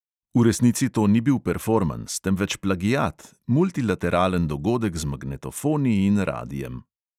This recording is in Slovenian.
V resnici to ni bil performans, temveč plagiat, multilateralen dogodek z magnetofoni in radiem.